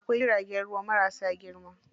Akwai jiragen ruwa marasa girma.